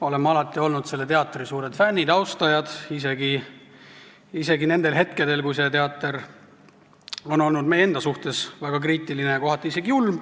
Oleme alati olnud selle teatri suured fännid ja austajad, isegi nendel hetkedel, kui see teater on olnud meie enda suhtes väga kriitiline, kohati isegi julm.